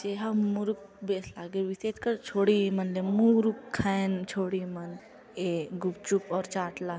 जे ह मुरुक बेस लागे विशेषकर छोडे इमंला मुरुख खायन छोड़िन इमन ये गुपचुप अऊ चाट ला।